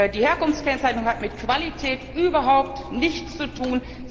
Die Herkunftskennzeichnung hat mit Qualität überhaupt nichts zu tun.